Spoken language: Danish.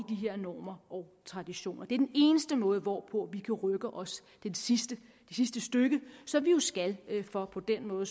her normer og traditioner det er den eneste måde hvorpå vi kan rykke os det sidste stykke som vi jo skal for på den måde